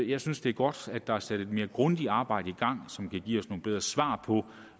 jeg synes det er godt at der er sat et mere grundigt arbejde i gang som kan give os nogle bedre svar på